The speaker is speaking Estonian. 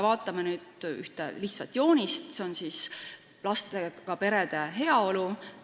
Vaatame ühte lihtsat joonist lastega perede heaolu kohta.